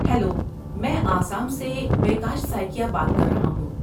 Hello! میں آسام سے بیکاش سائکیا بات کر رہا ہوں۔